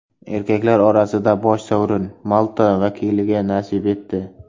Erkaklar orasida bosh sovrin Malta vakiliga nasib etdi.